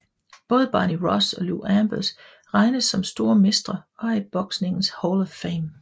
Både Barney Ross og Lou Ambers regnes som store mestre og er i boksningens Hall of Fame